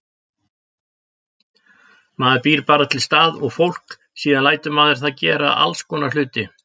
Maður býr bara til stað og fólk, síðan lætur maður það gera allskonar hluti.